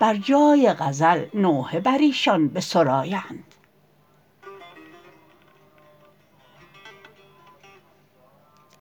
بر جای غزل نوحه بر ایشان بسرایند